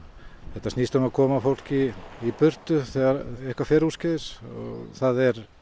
þetta snýst um að koma fólki í burtu þegar eitthvað fer úrskeiðis og það er